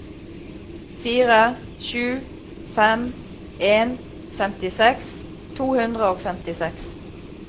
fire sju fem en femtiseks to hundre og femtiseks